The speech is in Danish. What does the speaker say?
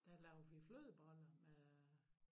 Der lavede vi flødeboller med øh